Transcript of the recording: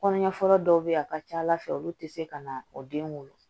Kɔɲɔfura dɔw bɛ yen a ka ca ala fɛ olu tɛ se ka na o den wolo